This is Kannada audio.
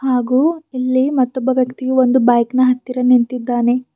ಹಾಗೂ ಇಲ್ಲಿ ಮತ್ತೊಬ್ಬ ವ್ಯಕ್ತಿ ಒಂದು ಬೈಕ್ನ ಹತ್ತಿರ ನಿಂತಿದ್ದಾನೆ.